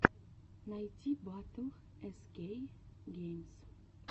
найти батл эс кей геймс